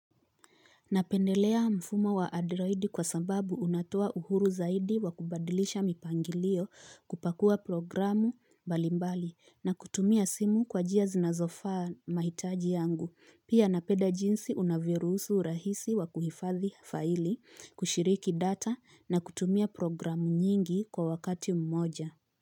Napendelea mfumo wa adroidi kwa sababu unatoa uhuru zaidi wa kubadilisha mipangilio kupakua programu mbali mbali na kutumia simu kwa njia zinazofaa mahitaji yangu. Pia napenda jinsi unavyoruhusu urahisi wa kuhifadhi faili, kushiriki data na kutumia programu nyingi kwa wakati mmoja.